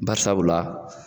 Barisabula